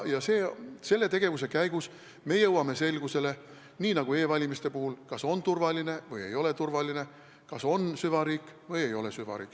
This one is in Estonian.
Selle tegevuse käigus me jõuame selgusele – nii nagu ka e-valimiste puhul, et kas need on turvalised või ei ole turvalised –, kas on süvariik või ei ole süvariik.